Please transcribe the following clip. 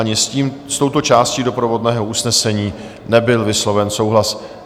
Ani s tím, s touto částí doprovodného usnesení, nebyl vysloven souhlas.